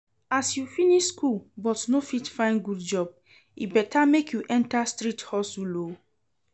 As you finish school but no fit find good job, e better make you enter street hustle oo